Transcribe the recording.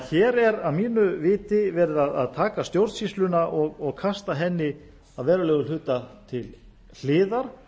hér er því að mínu viti verið að taka stjórnsýsluna og kasta henni að verulegum hluta til hliðar